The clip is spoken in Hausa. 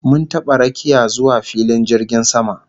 Mun taba rakiya zuwa filin jirgin sama